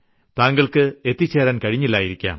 താങ്കൾക്ക് എത്തിച്ചേരാൻ കഴിഞ്ഞിട്ടില്ലായിരുന്നിരിക്കാം